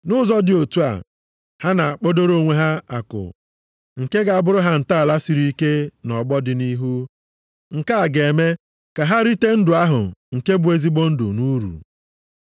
Nʼụzọ dị otu a, ha na-akpadoro onwe ha akụ nke ga-abụrụ ha ntọala siri ike nʼọgbọ dị nʼihu, nke a ga-eme ka ha rite ndụ ahụ nke bụ ezigbo ndụ nʼuru.